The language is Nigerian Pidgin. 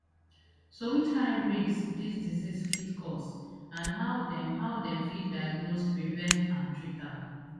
so which kain risks dis disease fit cause and how dem how dem fit diagnose prevent and treat am